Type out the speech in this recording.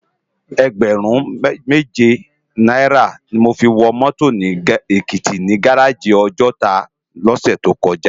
Ègbèrún méjé náirâ ni mó fi wò mòtó Ekiti ni gáráji Òjòtá lòsè tókòjá